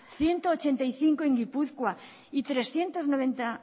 ciento ochenta y cinco en gipuzkoa y trescientos noventa